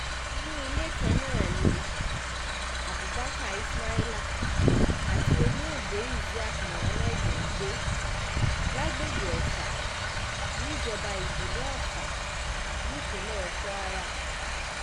inú ilé kan náà ni abubakar ismaila àti olóògbé isiaq muhammad ń gbé lágbègbè ofa níjọba ìbílẹ̀ ọfà nípínlẹ̀ kwara